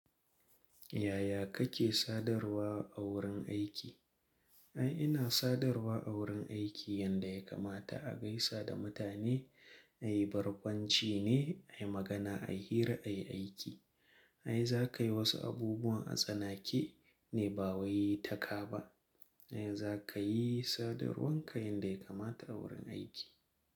Yaya kake sadarwa a wurin aiki? Ai ina sadarwa a wurin aiki yanda ya kamata, a gaisa da mutane, ayi barkwanci ne, ayi magana, ayi hira, ayi aiki. Ai zakayi wasu abubuwan a tsanake ne ba waye ta kaba. In zakayi sadarwarka yanda ya kamata a wurin aiki.